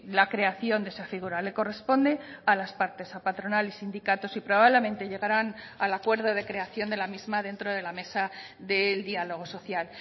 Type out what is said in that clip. la creación de esa figura le corresponde a las partes a patronal y sindicatos y probablemente llegarán al acuerdo de creación de la misma dentro de la mesa del diálogo social